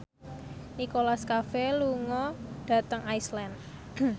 Nicholas Cafe lunga dhateng Iceland